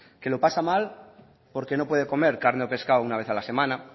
que lo pasa mal porque no puede comer carne o pescado una vez a la semana